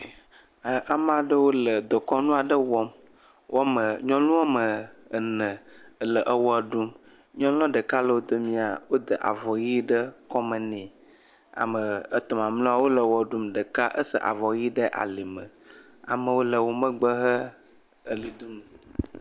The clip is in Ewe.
Ame aɖewo le dekɔnu aɖe wɔm nyɔnu woame ene le wɔɖum nyɔnu ɖeka le wodome woda avɔ ɣi ɖe kɔme nɛ ame etɔ mamlɛwo le wɔɖum wosa avɔ ɣi ɖe alime amewo le womegbe he ɣli dom